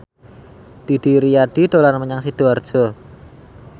Didi Riyadi dolan menyang Sidoarjo